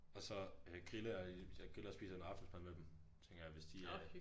Og så øh griller jeg i hvis jeg griller og spiser noget aftensmad med dem tænker jeg hvis de er